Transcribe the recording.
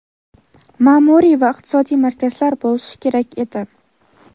ma’muriy va iqtisodiy markazlar bo‘lishi kerak edi.